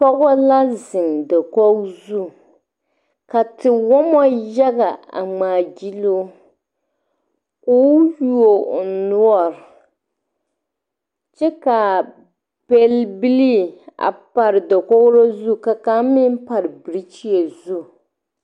Pɔgba la zeng dakogo zung ka tewoma yaga a ngmaa gyiluu kuo yuo ɔ nɔɔri kye kaa pel bilii a pare dakouri zu ka kang meng pare birikyie zu.